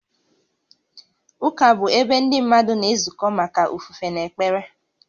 Ụka bụ ebe ndị mmadụ na-ezukọ maka ofufe na ekpere